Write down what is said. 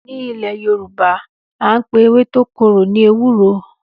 Ní Ilè Yorùbá àńpè ewé tó korò ni ewúro